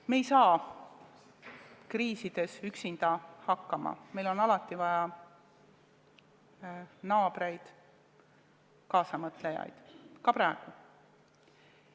Me ei saa kriisides üksinda hakkama, meil on alati vaja naabreid ja muid kaasamõtlejaid, ka praegu.